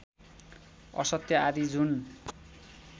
असत्य आदि जुन